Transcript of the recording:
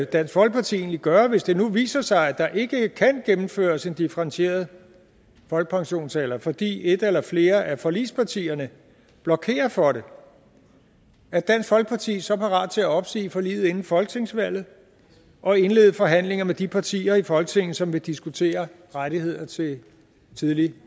dansk folkeparti egentlig gøre hvis det nu viser sig at der ikke kan gennemføres en differentieret folkepensionsalder fordi et eller flere af forligspartierne blokerer for det er dansk folkeparti så parat til at opsige forliget inden folketingsvalget og indlede forhandlinger med de partier i folketinget som vil diskutere rettigheder til tidlig